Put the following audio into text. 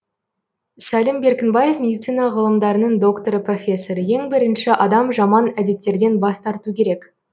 сәлім беркінбаев медицина ғылымдарының докторы профессор ең бірінші адам жаман әдеттерден бас тарту керек